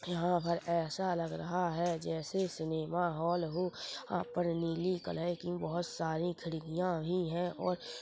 यहाँ पर ऐसा लग रहा हैं जैसे सिनेमा हॉल हो यहाँ पर नीली कलर की बहोत सारी खिड़कियां भी हैं और--